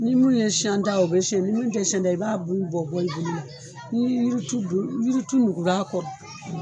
Ni min ye shɛn ta ye o bɛ shɛn, ni min tɛ shɛn ta ye i b'a bulu bɔ bɔ i bolo. Ni yiri tu ni yiri tu nugula kɔrɔ.